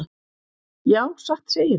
Já, satt segirðu.